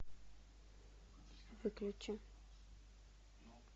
выключи